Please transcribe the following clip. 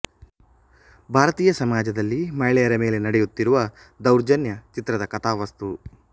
ಭಾರತೀಯ ಸಮಾಜದಲ್ಲಿ ಮಹಿಳೆಯರ ಮೇಲೆ ನಡೆಯುತ್ತಿರುವ ದೌರ್ಜನ್ಯ ಚಿತ್ರದ ಕಥಾವಸ್ತು